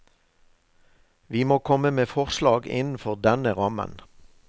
Vi må komme med forslag innenfor denne rammen.